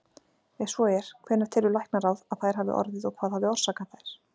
Ef svo er, hvenær telur læknaráð, að þær hafi orðið og hvað hafi orsakað þær?